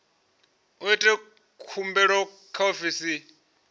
vha ite khumbelo kha ofisi